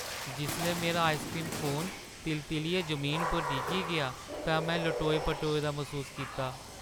जिसलै मेरा ice cream cone ति'ललियै जमीना पर डिग्गी गेआ तां में लटोए-पटोए दा मसूस कीता।